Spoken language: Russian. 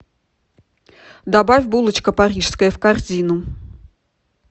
добавь булочка парижская в корзину